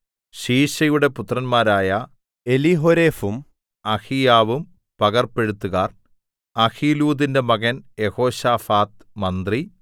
ശീശയുടെ പുത്രന്മാരായ എലീഹോരെഫും അഹീയാവും പകർപ്പെഴുത്തുകാർ അഹീലൂദിന്റെ മകൻ യെഹോശാഫാത്ത് മന്ത്രി